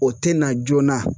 O tɛ na joona.